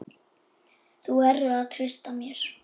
Þú verður að treysta mér